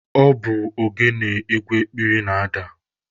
Ọ bụ ogene egwu ekpili na-ada.